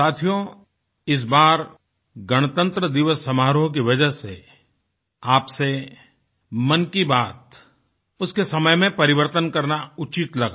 साथियो इस बार गणतंत्र दिवस समारोह की वजह से आपसे मन की बातउसके समय में परिवर्तन करना उचित लगा